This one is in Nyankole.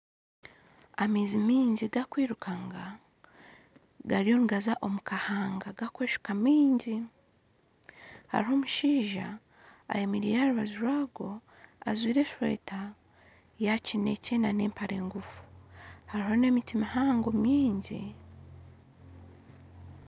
Amaizi maingi garukwirukanga gariyo nigaza omukahanga gakweshuka maingi haruho omushaija ayemereire aharubaju rwago ajwire eshweta ya kinekye hamwe n'empare ngufu haruho n'emiti mihango myingi.